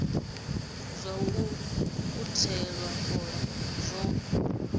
zwa u ukhuthela fola zwo